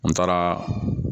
N taaraa